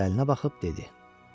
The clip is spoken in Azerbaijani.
Diqqətlə əlinə baxıb dedi: